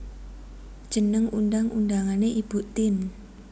Jeneng undang undangané Ibu Tien